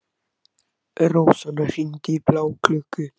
Rósanna, hringdu í Bláklukku.